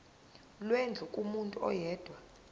lwendlu kumuntu oyedwa